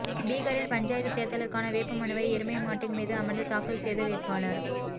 பீகாரில் பஞ்சாயத்து தேர்தலுக்கான வேட்பு மனுவை எருமை மாட்டின் மீது அமர்ந்து தாக்கல் செய்த வேட்பாளர்